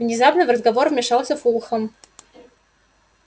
внезапно в разговор вмешался фулхам